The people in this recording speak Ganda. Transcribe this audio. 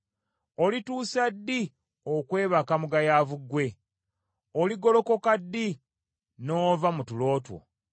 Olituusa ddi okwebaka mugayaavu ggwe? Oligolokoka ddi n’ova mu tulo two?